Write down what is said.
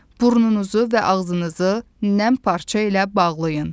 Burnunuzu və ağzınızı nəm parça ilə bağlayın.